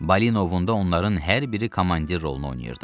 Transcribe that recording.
Balinovunda onların hər biri komandir rolunu oynayırdı.